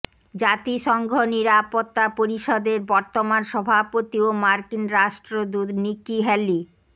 জাতিসংঘ নিরাপত্তা পরিষদের বর্তমান সভাপতি ও মার্কিন রাষ্ট্রদূত নিকি হ্যালি